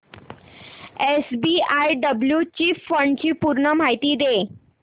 SBI blue chip fund ची पूर्ण माहिती दे